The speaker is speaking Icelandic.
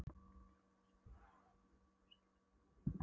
Deilur í bæjarstjórn og afstaða Samvinnunefndar um skipulagsmál